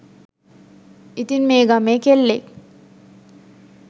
ඉතින් මේ ගමේ කෙල්ලෙක්